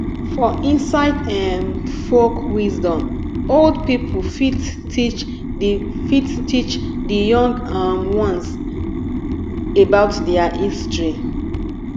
for inside um folk wisdom old pipo fit teach di fit teach di young um ones about their history